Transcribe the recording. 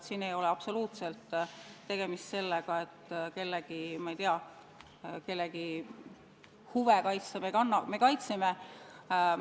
Siin ei ole absoluutselt tegemist sellega, et kellegi huve kaitsta.